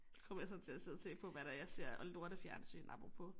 Kommer jeg så til at sidde og tænke på hvad det er jeg ser af lortefjernsyn apropos